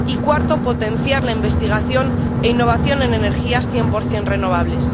Y cuarto, potenciar la investigación e innovación en energías cien por cien renovables.